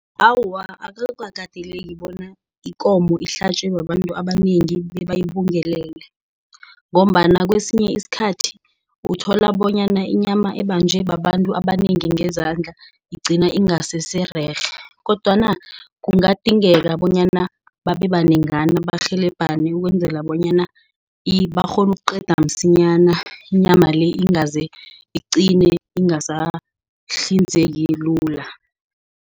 Awa, akukateleki bona ikomo ihlitjwe babantu abanengi, bebayibungelele. Ngombana kwesinye isikhathi uthola bona inyama ebanjwe ababantu abanengi ngezandla igcina ingasesererhe. Kodwana kungadingeka bonyana babebanengana barhelebhane ukwenzela bonyana barhone ukuqeda msinyana, inyama le ingaze iqine ingasahlinzeki lula.